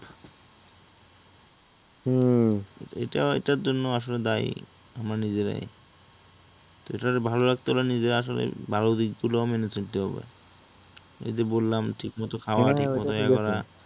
এটা এটার জন্য আসলে দায়ী আমরা নিজেরাই তো এটারে ভালো রাখতে হলে নিজেরা আসলে ভালো দিকগুলো মেনে চলতে হবে, এই যে বললাম ঠিকমতো খাওয়া ঠিক মতো ইয়া করা